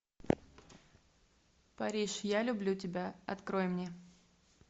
париж я люблю тебя открой мне